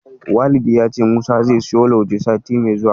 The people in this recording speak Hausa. Walidi ya ce Musa zai siyo Lauje sati mai zuwa.